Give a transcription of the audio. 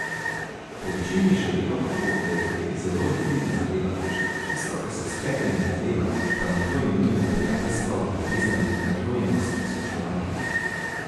Po večini je še vedno tako, da je dotik zelo intimna zadeva, tisto, kar se splete med dvema, pa naj to imenujemo prijateljstvo, ljubezen, naklonjenost, spoštovanje.